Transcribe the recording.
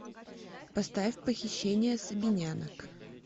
поставь похищение сабинянок